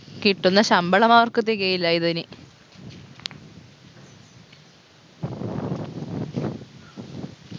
കിട്ടുന്ന ശമ്പളം അവർക്ക് തികയില്ല ഇതിന്